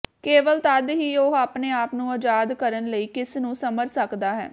ਕੇਵਲ ਤਦ ਹੀ ਉਹ ਆਪਣੇ ਆਪ ਨੂੰ ਆਜ਼ਾਦ ਕਰਨ ਲਈ ਕਿਸ ਨੂੰ ਸਮਝ ਸਕਦਾ ਹੈ